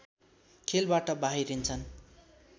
खेलबाट बाहिरिन्छन्